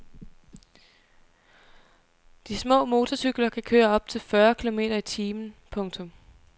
De små motorcykler kan køre op til fyrre kilometer i timen. punktum